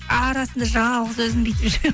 арасында жалғыз өзім бүйтіп жүремін